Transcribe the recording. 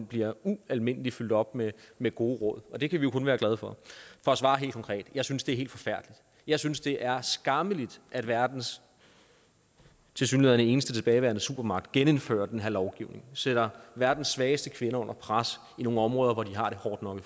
bliver ualmindelig fyldt op med med gode råd og det kan vi jo kun være glade for for at svare helt konkret jeg synes det er helt forfærdeligt jeg synes det er skammeligt at verdens tilsyneladende eneste tilbageværende supermagt genindfører den her lovgivning sætter verdens svageste kvinder under pres i nogle områder hvor de har det hårdt nok